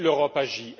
Oui, l'Europe agit.